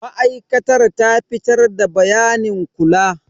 Masana'antar ta fitar da bayanin kula.